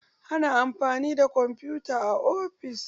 Ana amfani da kwamfuta a ofis.